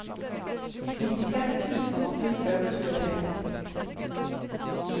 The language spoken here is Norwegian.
nittiseks tusen åtte hundre og tjuetre